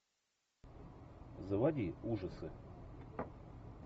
заводи ужасы